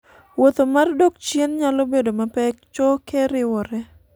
wuoth mar dok chien nyalo bedo mapek choke riwore